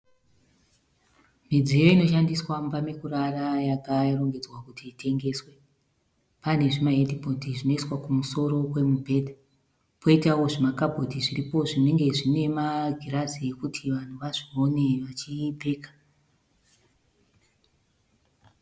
Midziyo inoshandiswa mumba mekurara yakarongedzwa kuti itengeswe. Pane zvimahedhibhodhi zvinoiswa kumusoro kwemubhedha poitawo zvimakabhodhi zviripo zvinenge zvine magirazi ekuti vanhu vazvione vachipfeka.